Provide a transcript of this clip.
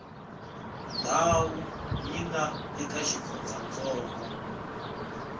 ndhawu yi nga eka xifundzantsongo